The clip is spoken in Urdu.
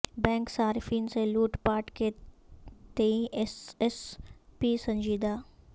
بینک صارفین سے لوٹ پاٹ کے تئیں ایس ایس پی سنجیدہ